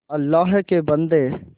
अल्लाह के बन्दे